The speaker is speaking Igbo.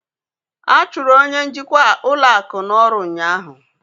A chụrụ onye njikwa ụlọ akụ n'ọrụ ụnyaahụ